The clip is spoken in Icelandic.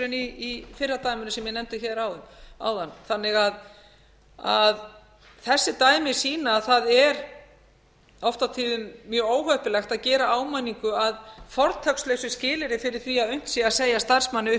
í fyrra dæminu sem ég nefndi hér áðan þannig að þessi dæmi sýna að það er oft á tíðum mjög óheppilegt að gera áminningu að fortakslausu skilyrði fyrir því að unnt sé að segja starfsmanni upp